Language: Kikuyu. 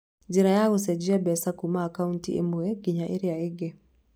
Njĩra ya gũcenjia mbeca kuuma akaunti ĩmwe nginya ĩrĩa ĩngĩ: